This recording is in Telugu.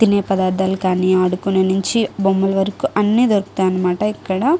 తినే పదార్ధాలు కానీ ఆడుకునే నించి బొమ్మల వరకు అన్నీ దొరుకుతాయి అనమాట ఇక్కడ.